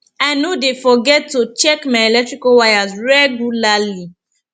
i no dey forget to check my electrical wires regularly